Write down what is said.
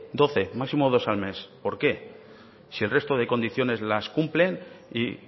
doce máximo dos al mes por qué si el resto de condiciones las cumplen y